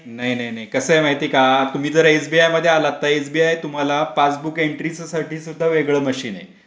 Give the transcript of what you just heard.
नाही नाही नाही कसय माहितए आहे का तुम्ही जर एसबीआय मध्ये आला तर एसबीआय तुम्हाला पासबुक एन्ट्रीचसाठी सुद्धा वेगळं मशीन आहे.